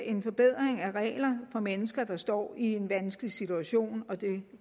en forbedring af regler for mennesker der står i en vanskelig situation og det